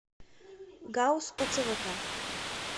гауз оцвк